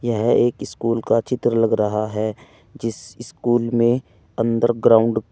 यह एक स्कूल का चित्र लग रहा है जिस स्कूल में अंदर ग्राउंड --